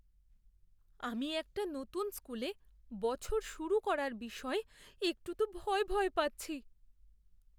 আমি একটা নতুন স্কুলে বছর শুরু করার বিষয়ে একটু তো ভয় ভয় পাচ্ছি।